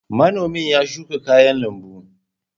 Manomi ya shuka kayan lambu.